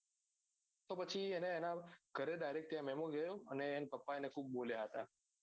તો પછી એને એના ગરે direct ત્યાં મેમો ગયો હતો પછી એના પાપા એને ખુબ બોલ્યા હતા